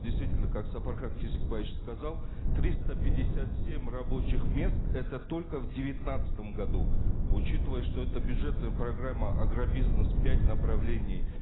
действительно как сапархан кесикбаевич сказал триста пятьдесят семь рабочих мест это только в девятнадцатом году учитывая что это бюджетная программа агробизнес пять направлений